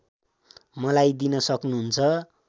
मलाई दिन सक्नहुन्छ